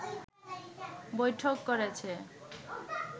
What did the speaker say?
বৈঠক করেছে